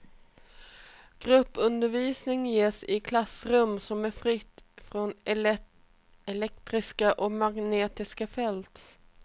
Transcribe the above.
Gruppundervisningen ges i ett klassrum som är fritt från elektriska och magnetiska fält.